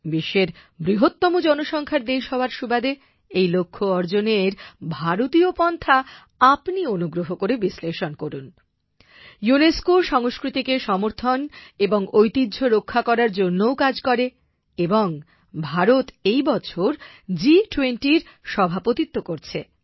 বিশ্বের বৃহত্তম জনসংখ্যার দেশ হওয়ার সুবাদে এই লক্ষ্য অর্জনের ভারতীয় পন্থা আপনি অনুগ্রহ করে বিশ্লেষণ করুন। ইউনেস্কো সংস্কৃতিকে সমর্থন এবং ঐতিহ্য রক্ষা করার জন্যও কাজ করে এবং ভারত এই বছর G20এর সভাপতিত্ব করছে